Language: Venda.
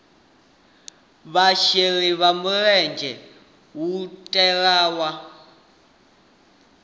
vhasheli vha mulenzhe hu katelwa